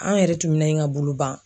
An yɛrɛ tun minaɲi ka boloban.